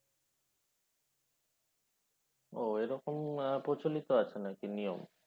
ও এরকম প্রচলিত আছে নাকি নিয়ম?